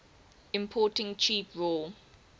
importing cheap raw